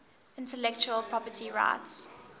intellectual property rights